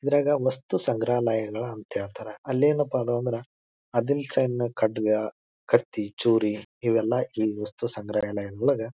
ಇದ್ರಾಗ ವಸ್ತು ಸಂಗ್ರಹಾಲಯಗಳ ಅಂತ ಹೇಳ್ತರ. ಅಲ್ಲಿ ಏನಪಾ ಅದಾವ್ ಅಂದ್ರ ಆದಿಲ್ ಸೈಬ್ನ ಖಡ್ಗ ಕತ್ತಿ ಚೂರಿ ಇವೆಲ್ಲ ಈ ವಸ್ತು ಸಂಗ್ರಹಾಲಯದೊಳಗ--